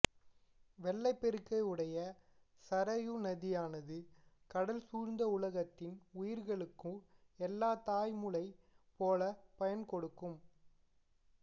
வெள்ளப் பெருக்கை உடைய சரயு நதியானது கடல் சூழ்ந்த உலகத்தின் உயிர்களுக்கு எல்லாம் தாய்முலை போலப் பயன் கொடுக்கும்